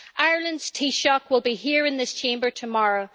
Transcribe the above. Ireland's Taoiseach will be here in this Chamber tomorrow.